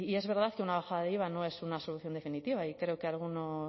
es verdad que una bajada de iva no es una solución definitiva y creo que algunos